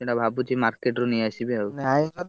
ସେଇଟା ଭାବୁଛି market ରୁ ନେଇ ଆସିବି ଆଉ। ନାଇଁ ଯଦି,